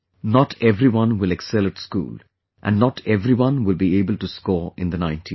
Not everyone will excel at school and not everyone will be able to score in the 90s